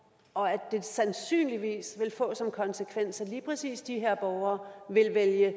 og at det sandsynligvis vil få som konsekvens at lige præcis de her borgere vil vælge